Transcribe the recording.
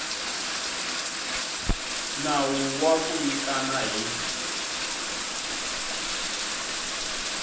nawu wa ku nyikana hi